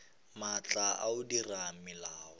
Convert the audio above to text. maatla a go dira melao